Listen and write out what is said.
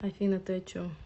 афина ты о чем